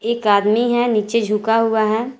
एक आदमी है नीचे झुका हुआ है।